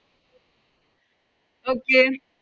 Okay